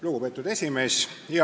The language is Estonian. Lugupeetud esimees!